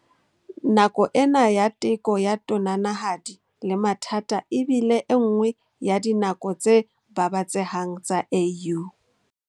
Nako ena ya teko ya tonanahadi le mathata e bile enngwe ya dinako tse babatsehang tsa AU.